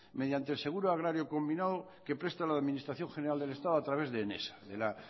mediante el seguro agrario combinado que presta la administración general del estado a través de enesa la